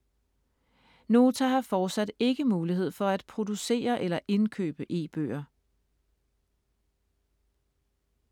Nota har fortsat ikke mulighed for at producere eller indkøbe e-bøger.